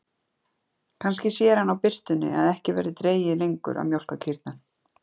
Kannski sér hann á birtunni að ekki verði dregið lengur að mjólka kýrnar.